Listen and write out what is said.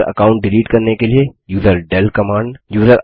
user account delete करने के लिए यूजरडेल कमांड